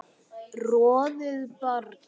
roðið brann